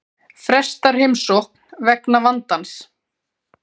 Frestar heimsókn vegna vandans